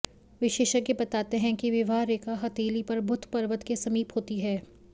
विशेषज्ञ बताते हैं कि विवाह रेखा हथेली पर बुध पर्वत के समीप होती है